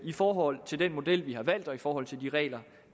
i forhold til den model vi har valgt og i forhold til de regler